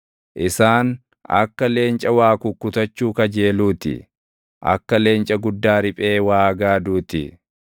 Isaan akka leenca waa kukkutachuu kajeeluu ti; akka leenca guddaa riphee waa gaaduu ti.